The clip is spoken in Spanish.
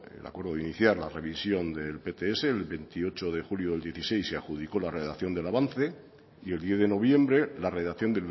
el acuerdo de iniciar la revisión del pts el veintiocho de julio del dieciséis y adjudicó la redacción del avance y el diez de noviembre la redacción